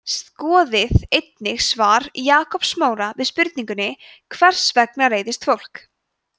skoðið einnig svar jakobs smára við spurningunni hvers vegna reiðist fólk